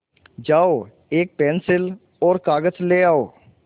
जाओ एक पेन्सिल और कागज़ ले आओ